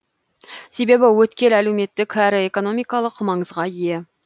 себебі өткел әлеуметтік әрі экономикалық маңызға ие